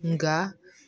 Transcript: Nga